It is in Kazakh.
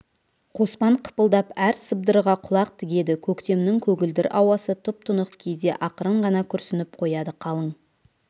қоспан қыпылдап әр сыбдырға құлақ тігеді көктемнің көгілдір ауасы тұп-тұнық кейде ақырын ғана күрсініп қояды қалың